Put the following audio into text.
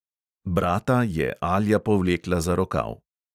Brata je alja povlekla za rokav.